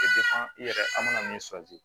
i yɛrɛ an mana min